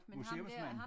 Museumsmand